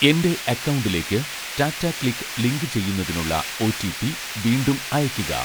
എൻ്റെ അക്കൗണ്ടിലേക്ക് ടാറ്റാക്ലിക്ക് ലിങ്കുചെയ്യുന്നതിനുള്ള ഒ.റ്റി.പി വീണ്ടും അയയ്ക്കുക